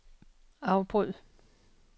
afbryd